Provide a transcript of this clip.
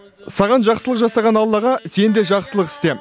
саған жақсылық жасаған аллаға сен де жақсылық істе